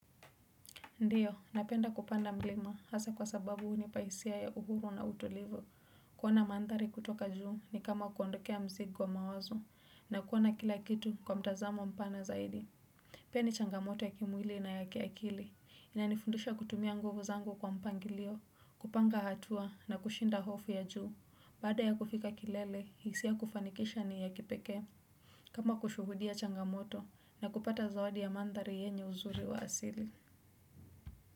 Ndiyo, napenda kupanda mlima hasa kwa sababu hunipa hisia ya uhuru na utulivu. Kuona mandhari kutoka juu ni kama kuondokea mzigo wa mawazo na kuona kila kitu kwa mtazamo mpana zaidi. Pia ni changamoto ya kimwili na ya kiakili. Inanifundusha kutumia nguvu zangu kwa mpangilio, kupanga hatua na kushinda hofu ya juu. Baada ya kufika kilele, hisia kufanikisha ni ya kipekee. Kama kushuhudia changamoto na kupata zawadi ya mandhari yenye uzuri wa asili.